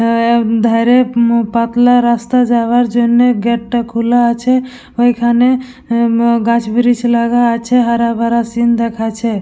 M ধারে মু পাতলা রাস্তা যাবার জন্য গেট টা খোলা আছে। ওইখানে গাছ বৃক্ষ লাগা আছে। হারা ভরা সিন দেখাচ্ছে।